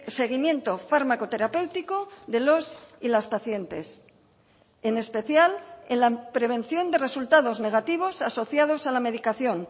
seguimiento fármaco terapéutico de los y las pacientes en especial en la prevención de resultados negativos asociados a la medicación